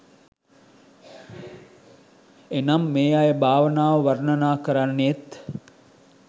එනම් මේ අය භාවනාව වර්ණනා කරන්නේත්,